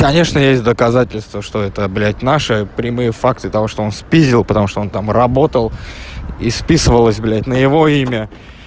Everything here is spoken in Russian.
конечно есть доказательства что это блять наши прямые факты того что он спиздил потому что он там работал и списывалось блять на его имя